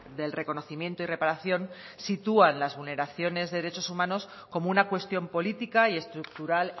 del reconocimiento y reparación sitúan las vulneraciones de derechos humanos como una cuestión política y estructural